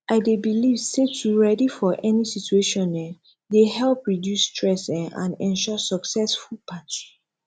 i dey believe say to ready for any situation um dey help reduce stress um and ensure successful party